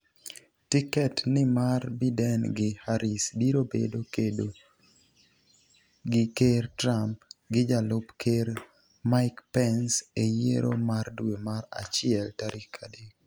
tiket ni mar Biden gi Harris biro bedo kedo gi Ker Trump gi jalup Ker Mike Pence e yiero mar dwe mar achiel tarik adek